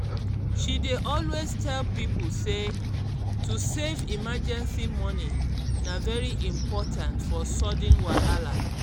she dey always tell people say to save emergency money na very important for sudden wahala